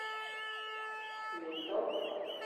мито